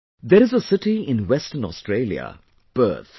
There is a city in Western Australia Perth